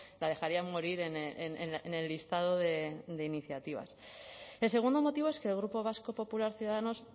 la dejarían morir en el listado de iniciativas el segundo motivo es que el grupo vasco popular ciudadanos